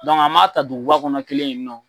an m'a ta duguba kɔnɔ kelen yen nɔ.